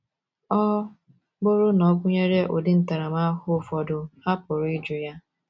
Ọ bụrụ na ọ gụnyere ụdị ntaramahụhụ ụfọdụ, ha pụrụ ịjụ ya.